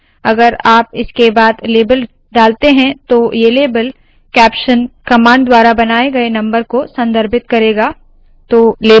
अगर आप इसके बाद लेबल डालते है तो ये लेबल कैप्शन कमांड द्वारा बनाए गए नम्बर को संदर्भित करेगा